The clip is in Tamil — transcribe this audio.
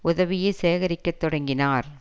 உதவியை சேகரிக்கத் தொடங்கினார்